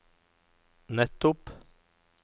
nettopp